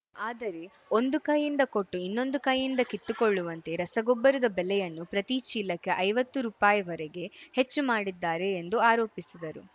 ಆದರೆ ಒಂದು ಕೈಯಿಂದ ಕೊಟ್ಟು ಇನ್ನೊಂದು ಕೈಯಿಂದ ಕಿತ್ತುಕೊಳ್ಳುವಂತೆ ರಸಗೊಬ್ಬರದ ಬೆಲೆಯನ್ನು ಪ್ರತಿ ಚೀಲಕ್ಕೆ ಐವತ್ತು ರುಪಾಯಿ ವರೆಗೆ ಹೆಚ್ಚು ಮಾಡಿದ್ದಾರೆ ಎಂದು ಆರೋಪಿಸಿದರು